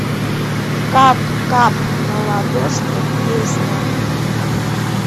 кап кап на ладошки песня